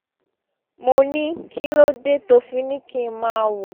mo ní kí ló dé tó fi ní kí n máa wò